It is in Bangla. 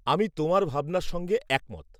আমি তোমার ভাবনার সঙ্গে একমত।